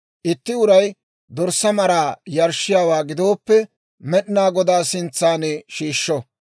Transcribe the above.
Itti uray dorssaa maraa yarshshiyaawaa gidooppe, Med'inaa Godaa sintsan shiishsho;